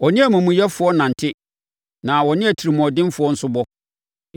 Ɔne amumuyɛfoɔ nante; na ɔne atirimuɔdenfoɔ nso bɔ.